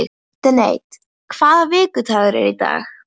Dante, hvaða vikudagur er í dag?